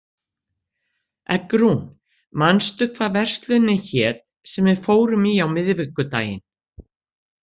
Eggrún, manstu hvað verslunin hét sem við fórum í á miðvikudaginn?